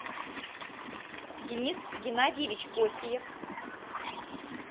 денис геннадьевич осиев